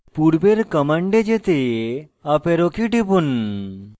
পূর্বের command যেতে up arrow key টিপুন